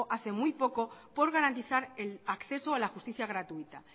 hace muy poco para garantizan el acceso a la justicia gratuita